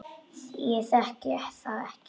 Ég þekki það ekki.